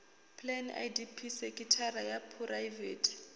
plan idp sekithara ya phuraivete